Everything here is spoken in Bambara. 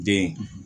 Den